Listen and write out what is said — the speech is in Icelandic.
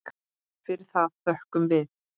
Fyrir það þökkum við.